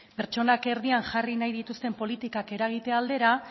pertsonak erdian jarri nahi dituzten politikak eragitea aldera